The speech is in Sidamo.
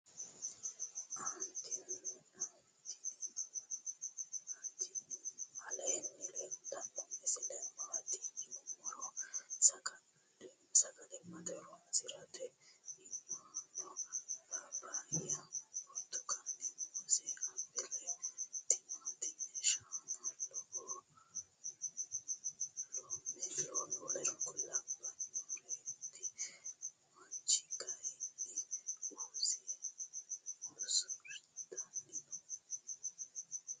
atini aleni leltano misile maati yinumoro. sagalimate horonsi'nanireti inano paapaya burtukane muuze apile timatime shana loome w.k.L lawanoreti mancho kayini uze usurtani noo.